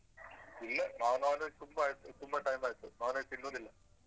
ಇಲ್ಲ ನಾವ್ non veg ತುಂಬಾ ಆಯ್ತು ತುಂಬಾ time ಆಯ್ತು non veg ತಿನ್ನುದಿಲ್ಲ ತುಂಬಾನೆ strict.